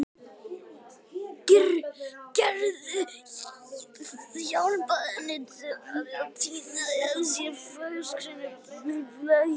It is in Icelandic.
Gerður hjálpaði henni við að tína af sér fagurgrænar blaðlýs.